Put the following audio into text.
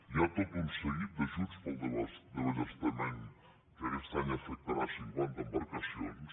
hi ha tot un seguit d’ajuts per al desballestament que aquest any afectarà cinquanta embarcacions